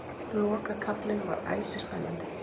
Lokakaflinn var æsispennandi